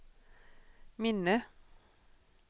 minne